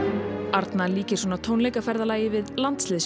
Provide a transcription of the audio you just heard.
arna líkir svona tónleikaferðalagi við